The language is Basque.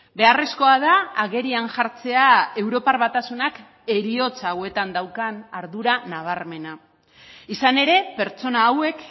beharrezkoa da agerian jartzea europar batasunak heriotza hauetan daukan ardura nabarmena izan ere pertsona hauek